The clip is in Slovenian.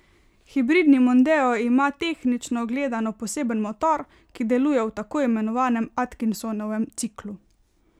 Hibridni mondeo ima tehnično gledano poseben motor, ki deluje v tako imenovanem atkinsonovem ciklu.